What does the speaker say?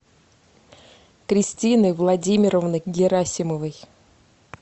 кристины владимировны герасимовой